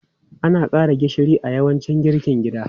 Ana ƙara gishiri a yawancin girkin gida.